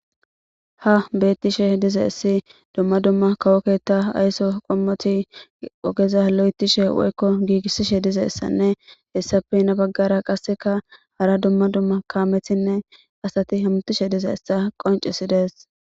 Ha bettishe diza essi dumma dumma kawoketa aysso qommoti ogeza lo'etishe woykko giigissishe dize essanne hessape yina baggara qasseka hara dumma dumma kaamethinne asati hamtishe diza essa qoncisi des.